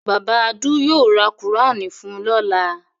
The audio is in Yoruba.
Bàbá Adu yóò ra Kùránì fun lọ́la.